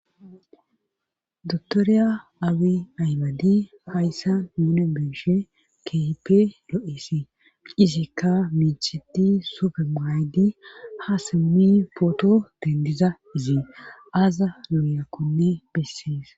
dotoriya abi aymadi hayssa nuni be7ishe kehipe lo7esi izekka miicheti sufe maydi ha semmi pooto dendiza izie aaza looyakkonne bessees